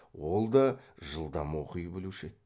ол да жылдам оқи білуші еді